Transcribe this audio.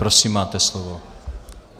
Prosím máte slovo.